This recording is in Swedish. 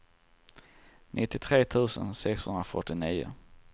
nittiotre tusen sexhundrafyrtionio